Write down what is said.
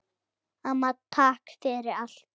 Amma, takk fyrir allt.